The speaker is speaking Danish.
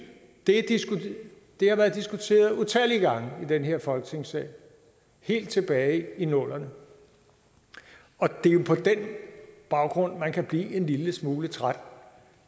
det har været diskuteret utallige gange i den her folketingssal helt tilbage i nullerne og det er jo på den baggrund man kan blive en lille smule træt